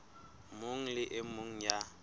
mong le e mong ya